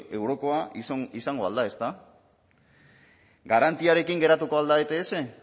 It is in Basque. eurokoa izango al da ezta garantiarekin geratuko al da ets